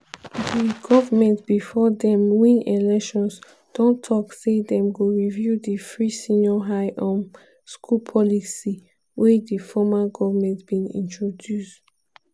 di goment bifor dem win elections don tok say dem go review di free senior high um school policy wey di former goment bin introduce.